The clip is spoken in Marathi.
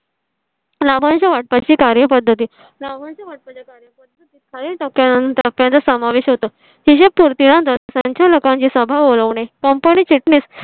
लाभांश वाटपा ची कार्यपद्धती रावण तुमच्या कार्यपद्धतीत काही त्यानंतर त्याचा समावेश होतो. फिशर पूर्ण संचालकांची सभा बोलवणे. company चिटणीस